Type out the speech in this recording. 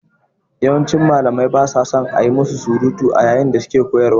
Yawancin Malamai ba sa son a yi musu surutu a yayin da suke koyarwa.